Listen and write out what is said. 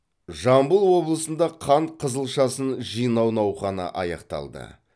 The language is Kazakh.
жамбыл облысында қант қызылшасын жинау науқаны аяқталды